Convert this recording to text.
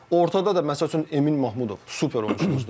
Ortada da məsəl üçün Emin Mahmudov super oyunçudur.